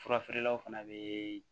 Furafeerelaw fana bɛ